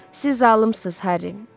Siz zalımsız, Harry.